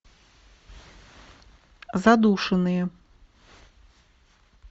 задушенные